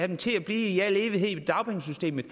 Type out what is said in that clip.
dem til at blive i al evighed i dagpengesystemet